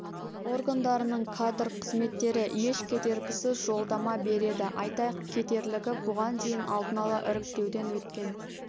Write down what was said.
органдарының кадр қызметтері еш кедергісіз жолдама береді айта кетерлігі бұған дейін алдын ала іріктеуден өткен